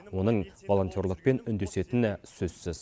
оның волонтерлықпен үндесетіні сөзсіз